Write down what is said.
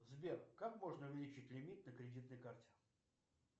сбер как можно увеличить лимит на кредитной карте